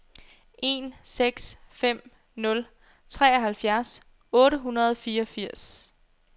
en seks fem nul treoghalvfjerds otte hundrede og fireogfirs